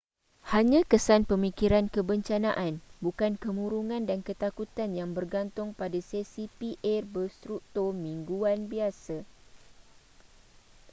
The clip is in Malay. hanya kesan pemikiran kebencanaan bukan kemurungan dan ketakutan yang bergantung pada sesi pa berstruktur mingguan biasa